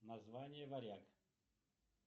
название варяг